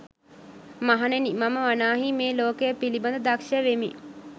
මහණෙනි, මම වනාහි මේ ලෝකය පිළිබඳ දක්‍ෂ වෙමි.